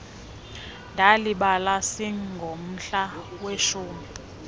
ndalibala singomhla weshumi